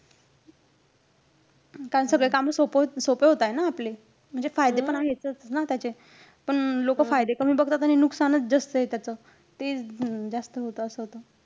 कारण सगळे काम सोपं~ सोपे होताय न आपले. म्हणजे फायदे पण आहेतच ना त्याचे. पण लोकं फायदे कमी बघतात आणि नुकसानच जास्तय त्याचं. ते अं जास्त होतं, असं होतं.